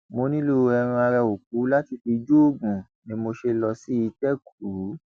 mo nílò ẹran ara òkú láti fi joògùn ni mo ṣe lọ sí ìtẹkùú